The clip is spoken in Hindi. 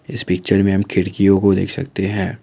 इस पिक्चर मे हम खिड़कियों को देख सकते है।